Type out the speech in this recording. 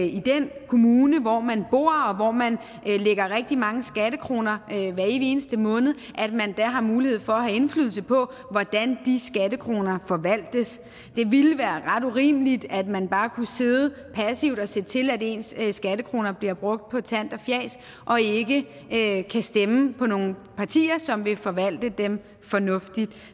i den kommune hvor man bor og hvor man lægger rigtig mange skattekroner hver evig eneste måned der har mulighed for at have indflydelse på hvordan de skattekroner forvaltes det ville være ret urimeligt at man bare kunne sidde passivt og se til at ens ens skattekroner bliver brugt på tant og fjas og ikke kan stemme på nogen partier som vil forvalte dem fornuftigt